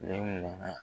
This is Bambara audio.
Ne nana